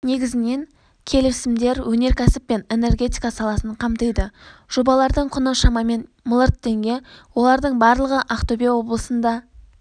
негізінен келісімдер өнеркәсіп пен энергетика саласын қамтиды жобалардың құны шамамен миллиард теңге олардың барлығы ақтөбе облысында